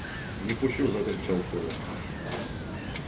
не пущу закричал коля